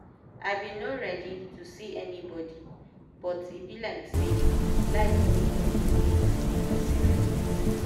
i been no ready to see anybody but e be like say life no even dey wait make person ready.